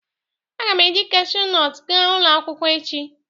Aga m eji Kashu nọtu gaa ulo akwukwo echi